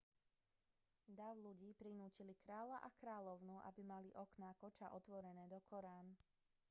dav ľudí prinútil kráľa a kráľovnú aby mali okná koča otvorené dokorán